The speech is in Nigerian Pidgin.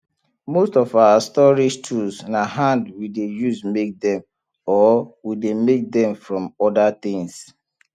most of our storage tools na hand we dey use make them or we dey make dem from other things